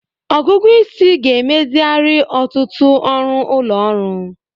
Ọgụgụ isi ga-emezigharị ọtụtụ ọrụ ụlọ ọrụ.